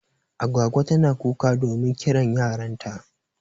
Agwagwa tana kuka domin kiran yaran ta.